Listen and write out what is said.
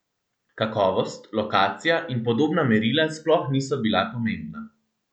Kakovost, lokacija in podobna merila sploh niso bila pomembna.